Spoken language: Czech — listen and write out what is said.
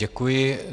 Děkuji.